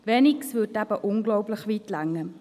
Weniges würde eben unglaublich weit reichen.